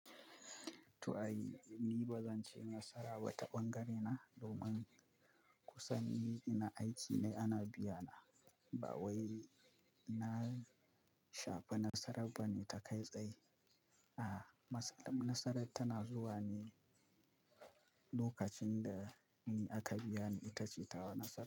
To ai, ni bazan ce nasara wata ɓangare na domin kusan ni ina aiki ne ana biya na. Ba wai na shafa nasarar bane ta kai tsaye. A'a, matsalan nasarar tana zuwa ne lokacin da ni aka biya ni ita ce tawa nasara.